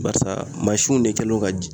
Barisa mansinw de kɛlen do ka